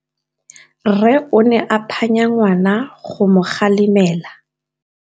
Rre o ne a phanya ngwana go mo galemela.